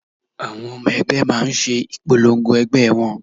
Àwọn ọmọ ẹgbẹ́ máa ń ṣe ìpolongo ẹgbẹ́ wọn